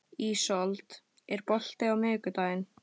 Ísold, er bolti á miðvikudaginn?